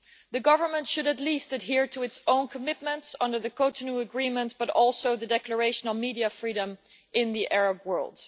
The government should at least adhere to its own commitments under the Cotonou Agreement, but also to the Declaration on Media Freedom in the Arab World.